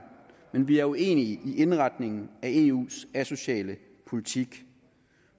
men vi er uenige i indretningen af eus asociale politik